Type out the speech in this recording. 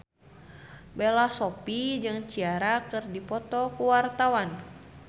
Bella Shofie jeung Ciara keur dipoto ku wartawan